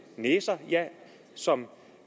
næser som